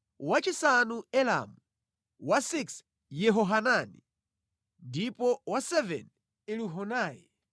wachisanu Elamu, wachisanu ndi chimodzi Yehohanani, ndipo wachisanu ndi chiwiri Elihunai.